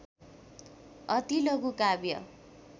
अति लघु काव्य